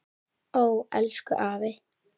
Ó elsku afi.